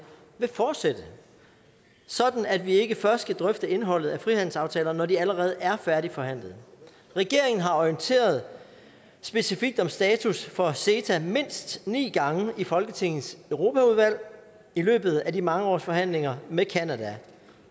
vil fortsætte sådan at vi ikke først skal drøfte indholdet af frihandelsaftalerne når de allerede er færdigforhandlede regeringen har orienteret specifikt om status for ceta mindst ni gange i folketingets europaudvalg i løbet af de mange års forhandlinger med canada